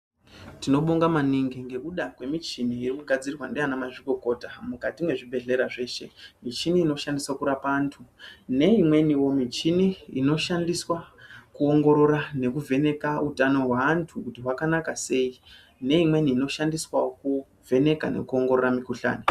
Tino bonga maningi ngekuda kwe michini iri ku gadzirwa ndi ana mazvi kokota mukati me zvibhedhleya zveshe michini inoshandiswa kurapa antu nge imweni wo michini inoshandiswa ku ongorora neku vheneka utano hwe antu hwakanaka sei ne imweniwo ino shandiswawo ku vheneka neku ongorora mi kuhlani.